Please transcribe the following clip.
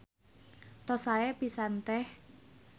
Tos sae pisan Teh.